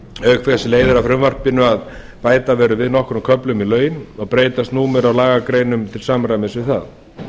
auk þess leiðir af frumvarpinu að bæta verður við nokkrum köflum laun og breytast númer á lagagreinum til samræmis við það